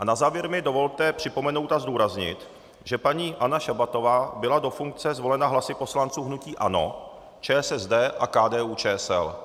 A na závěr mi dovolte připomenout a zdůraznit, že paní Anna Šabatová byla do funkce zvolena hlasy poslanců hnutí ANO, ČSSD a KDU-ČSL.